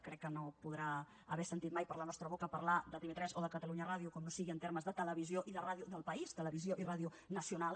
crec que no podrà haver sentit mai per la nostra boca parlar de tv3 o de catalunya ràdio com no sigui en termes de televisió i de ràdio del país televisió i ràdio nacional